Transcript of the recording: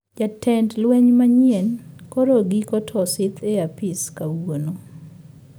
Jatend lweny manyien koro giko to osidh e apis kawuono